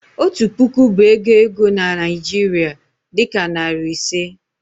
otu puku bụ ego ego na Nigeria, dị ka narị ise.